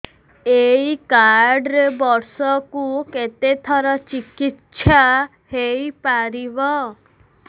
ଏଇ କାର୍ଡ ରେ ବର୍ଷକୁ କେତେ ଥର ଚିକିତ୍ସା ହେଇପାରିବ